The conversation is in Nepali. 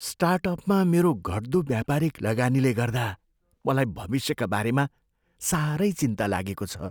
स्टार्टअपमा मेरो घट्दो व्यापारिक लगानीले गर्दा मलाई भविष्यका बारेमा साह्रै चिन्ता लागेको छ।